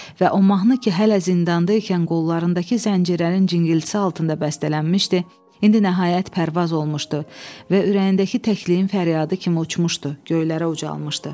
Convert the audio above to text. Və o mahnı ki hələ zindanda ikən qollarındakı zəncirlərin cingiltisi altında bəstələnmişdi, indi nəhayət pərvaz olmuşdu və ürəyindəki təkliyin fəryadı kimi uçmuşdu, göylərə ucalmışdı.